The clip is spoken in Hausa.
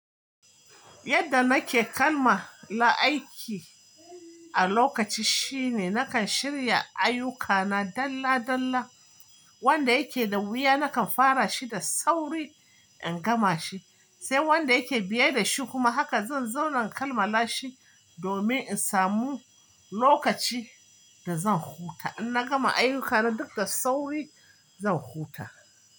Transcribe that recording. Yadda nake kalma la aiki a lokaci shine nakan shirya ayyukana dalla dalla wanda yake da wuya nakan fara shi da sauri in gama shi sai wanda yake biye da shi kuma haka zan zauna inkalmala shi domin in samu lokaci da zan huta in na gama ayyukana duk da sauri zan huta.